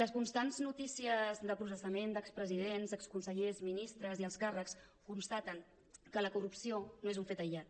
les constants notícies de processaments d’expresidents d’exconsellers ministres i alts càrrecs constaten que la corrupció no és un fet aïllat